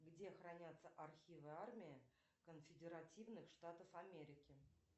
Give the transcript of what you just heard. где хранятся архивы армии конфедеративных штатов америки